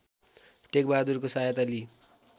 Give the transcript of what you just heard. टेकबहादुरको सहायता लिई